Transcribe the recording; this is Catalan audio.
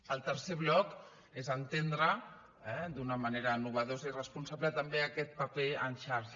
el tercer bloc és entendre d’una manera innovadora i responsable també aquest paper en xarxa